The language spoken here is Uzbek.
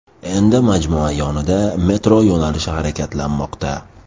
Endi majmua yonida metro yo‘nalishi harakatlanmoqda.